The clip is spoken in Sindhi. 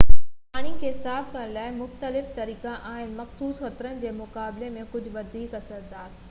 پاڻي کي صاف ڪرڻ لاءِ مختلف طريقا آهن مخصوص خطرن جي مقابلي ۾ ڪجهہ وڌيڪ اثردار